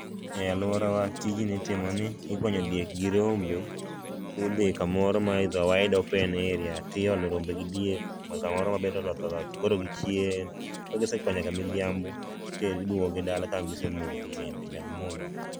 E aluorawa tijni itimo ni igonyo diek gi rombe to idhii kamoro ma is awide open area to iolo rombe gi diek kamoro ma be oloth oloth koro gichiem, ka gisekwayo nyaka midhiambo to iduoko gi dala ka gisemodho bende nyaka gimodhi